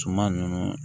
Suman nunnu